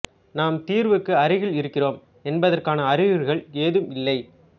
நாம் தீர்வுக்கு அருகில் இருக்கிறோம் என்பதற்கான அறிகுறிகள் ஏதும் இல்லை